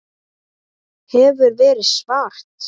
Hefur verið svart.